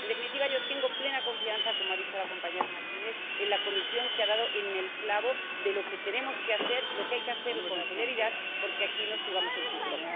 En definitiva, yo tengo plena confianza, como ha dicho la señora McGuinness, en la Comisión, que ha dado en el clavo de lo que tenemos que hacer, de lo que hay que hacer con celeridad, porque aquí nos jugamos el futuro.